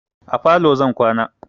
A falo zan kwana.